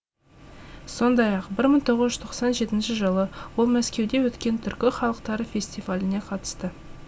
сондай ақ бір мың тоғыз жүз тоқсан жетінші жылы ол мәскеуде өткен түркі халықтары фестиваліне қатысты